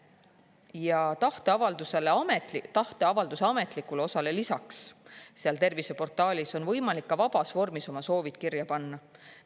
Ja tahteavalduse ametlikule osale lisaks seal terviseportaalis on võimalik ka vabas vormis oma soovid kirja panna.